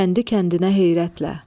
Kəndi-kəndinə heyrətlə.